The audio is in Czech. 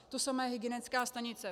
To samé hygienická stanice.